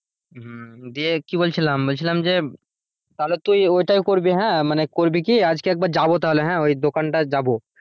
হম দিয়ে কি বলছিলাম বলছিলাম যে তাহলে তুই ওইটাই করবি হ্যাঁ মানে করবি কি আজকে একবার যাব তাহলে হ্যাঁ ওই দোকানটায় যাবো।